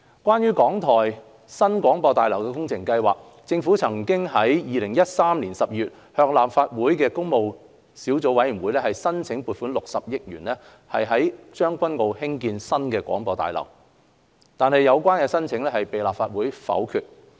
關於港台新廣播大樓工程計劃，政府曾於2013年12月向立法會工務小組委員會申請撥款60億元於將軍澳興建新廣播大樓，但有關申請被立法會否決。